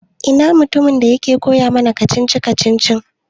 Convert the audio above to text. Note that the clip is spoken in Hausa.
Ina mutumin da yake koya mana kacici-kacicici?